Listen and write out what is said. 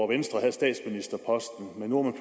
venstre havde statsministerposten nu er